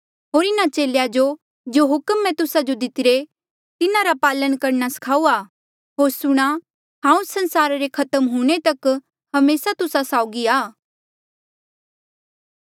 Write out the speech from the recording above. होर इन्हा चेलेया जो जो हुक्म मैं तुस्सा जो दितरे तिन्हारा पालन करणा सिखाऊआ होर सूणां हांऊँ संसारा रे खत्म हूंणे तक हमेसा तुस्सा साउगी आ